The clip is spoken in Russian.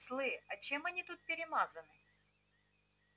слы а чем они тут перемазаны